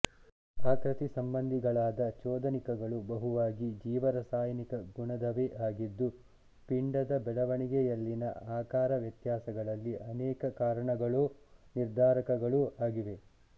ಆಕೃತಿಸಂಬಂಧಿಗಳಾದ ಚೋದನಿಕಗಳು ಬಹುವಾಗಿ ಜೀವರಾಸಾಯನಿಕ ಗುಣದವೇ ಆಗಿದ್ದು ಪಿಂಡದ ಬೆಳವಣಿಗೆಯಲ್ಲಿನ ಆಕಾರ ವ್ಯತ್ಯಾಸಗಳಲ್ಲಿ ಅನೇಕ ಕಾರಣಗಳೋ ನಿರ್ಧಾರಕಗಳೋ ಆಗಿವೆ